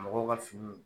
Mɔgɔw ka finiw